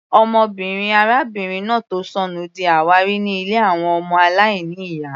Ọmọbìnrin arábìnrin náà tó sọnù di àwárí ní ilé àwọn ọmọ aláìní ìyá.